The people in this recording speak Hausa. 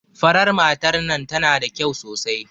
Farar matar nan tana da kyau sosai.